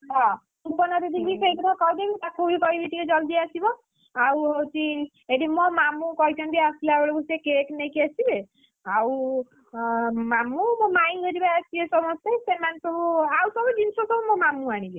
ହଁ ସୁପର୍ଣ୍ଣା ଦିଦିଙ୍କୁ ସେଇକଥା କହିଦେବି, ତାକୁ ବି କହିବି ଟିକେ ଜଲ୍‌ଦି ଆସିବ। ଆଉ ହଉଛି, ଏଇଠି ମୋ ମାମୁଁ କହିଛନ୍ତି, ଆସିଲା ବେଳକୁ ସେ cake ନେଇକି ଆସିବେ! ଆଉ ଅ ମାମୁଁ ମୋ ମାଇଁ ହରିକାବି ସବୁ ଆସିବେ ସମସ୍ତେ। ସେମାନେ ଆଉସବୁ ଜିନିଷ ମୋ ମାମୁଁ ଆଣିବେ,